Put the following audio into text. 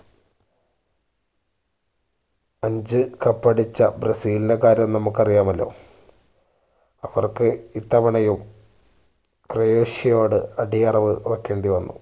അഞ്ച് cup അടിച്ച ബ്രസീലിന്റെ കാര്യം നമ്മക്ക് അറിയാമല്ലോ അവർക്ക് ഇത്തവണയും ക്രോയോഷ്യയോട് അടിയറവ് വെക്കേണ്ടി വന്നു